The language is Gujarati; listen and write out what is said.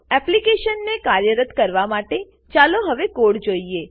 એપ્લીકેશનને કાર્યરત કરવા માટે ચાલો હવે કોડ જોઈએ